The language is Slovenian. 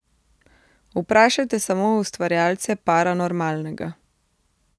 Vprašajte samo ustvarjalce Paranormalnega.